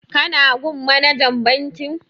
Ka na gun manajan bankin?